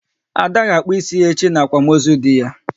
Ada will cut her hair tomorrow during her husband's burial